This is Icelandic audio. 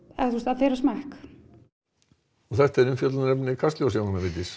þeirra smekk og þetta er umfjöllunarefni Kastljóss Jóhanna Vigdís